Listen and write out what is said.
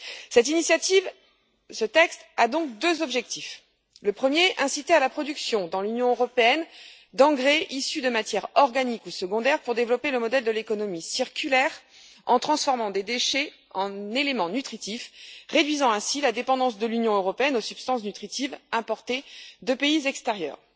Cette initiative, ce texte a donc deux objectifs. Le premier est d'inciter à la production dans l'Union européenne d'engrais issus de matières organiques ou secondaires pour développer le modèle de l'économie circulaire en transformant des déchets en éléments nutritifs, réduisant ainsi la dépendance de l'Union européenne aux substances nutritives importées de pays tiers.